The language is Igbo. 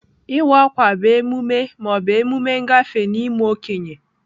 Iwa akwa bụ emume ma ọ bụ emume ngafe n'ime okenye.